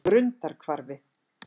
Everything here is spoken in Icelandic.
Grundarhvarfi